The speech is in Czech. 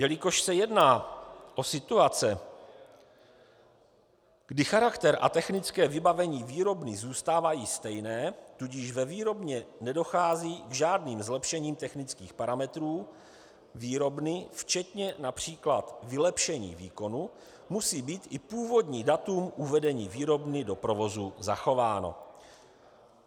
Jelikož se jedná o situace, kdy charakter a technické vybavení výrobny zůstávají stejné, tudíž ve výrobně nedochází k žádným zlepšením technických parametrů výrobny včetně například vylepšení výkonu, musí být i původní datum uvedení výrobny do provozu zachováno.